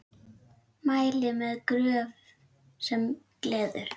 Mæli með Gröf sem gleður.